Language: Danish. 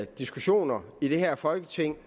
diskussioner i det her folketing